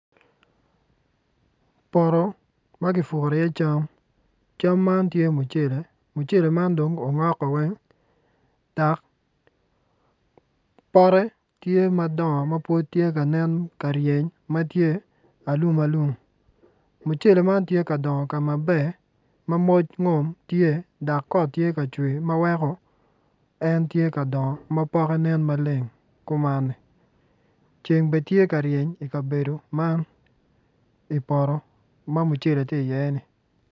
Poto ma kipuro iye cam cam man tye mucele, mucele man dong ongok weng dok pote tye madongo ma tye ka nen ka ryeny ma en alumalum mucele man tye ka dongo ka maber ma moc ngom tye dok kot tye ka cwer ma weko ceng bene tye ka reny i kabedo man i poto ma mucele tye iye-ni.